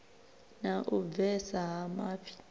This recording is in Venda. na u bvesa ha mafhi